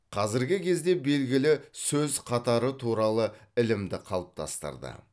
қазіргі кезде белгілі сөз қатары туралы ілімді қалыптастырды